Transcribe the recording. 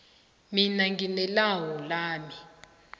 mina ngine lawu lami